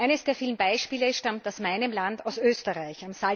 Eines der vielen Beispiele stammt aus meinem Land, aus Österreich.